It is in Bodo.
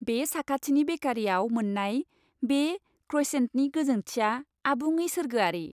बे साखाथिनि बेकारीआव मोननाय बे क्रइसेन्टनि गोजोंथिया आबुङै सोरगोआरि।